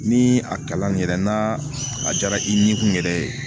Ni a kalan yɛrɛ n'a a diyara i nin kun yɛrɛ ye